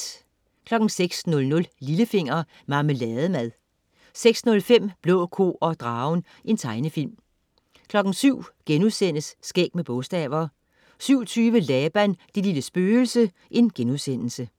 06.00 Lillefinger. Marmelademad 06.05 Blå ko og dragen. Tegnefilm 07.00 Skæg med bogstaver* 07.20 Laban, det lille spøgelse*